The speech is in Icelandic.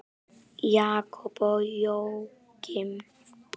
Jakob og Jóakim.